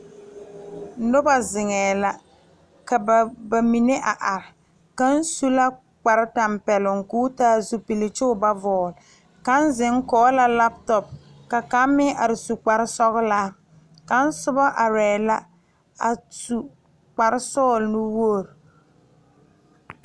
Noba zeŋe la ka bamine a are kaŋ su la kpare tanpɛloŋ koo taa zupele kyɔɔ ba vɔgle zeŋ kɔŋ la lantɔ kaŋ mine are su kpare sɔglaa kaŋ soba are la a su kpare sɔglɔ nuwogre.